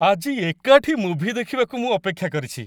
ଆଜି ଏକାଠି ମୁଭି ଦେଖିବାକୁ ମୁଁ ଅପେକ୍ଷା କରିଛି!